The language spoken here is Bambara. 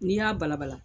N'i y'a balabala